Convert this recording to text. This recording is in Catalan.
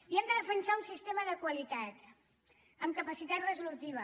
i hem de defensar un sistema de qualitat amb capacitat resolutiva